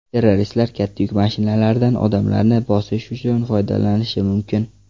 Terroristlar katta yuk mashinalaridan odamlarni bosish uchun foydalanishi mumkin.